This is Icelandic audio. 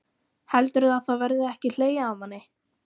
Heldurðu að það verði ekki hlegið að manni?